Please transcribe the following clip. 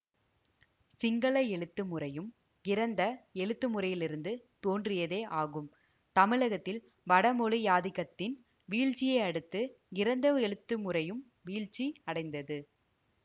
சிங்கள எழுத்து முறையும் கிரந்த எழுத்துமுறையிலிருந்து தோன்றியதே ஆகும் தமிழகத்தில் வடமொழியாதிக்கத்தின் வீழ்ச்சியையடுத்து கிரந்த எழுத்து முறையும் வீழ்ச்சி அடைந்தது